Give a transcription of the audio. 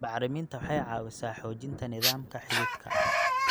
Bacriminta waxay caawisaa xoojinta nidaamka xididka.